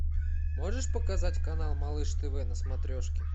можешь показать канал малыш тв на смотрешке